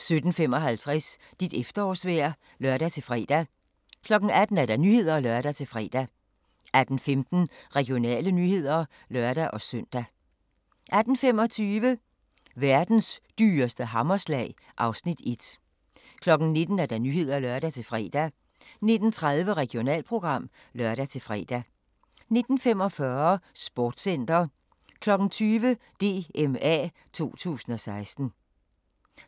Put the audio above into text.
17:55: Dit efterårsvejr (lør-fre) 18:00: Nyhederne (lør-fre) 18:15: Regionale nyheder (lør-søn) 18:25: Verdens dyreste hammerslag (Afs. 1) 19:00: Nyhederne (lør-fre) 19:30: Regionalprogram (lør-fre) 19:45: Sportscenter 20:00: DMA 2016